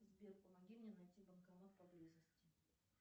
сбер помоги мне найти банкомат поблизости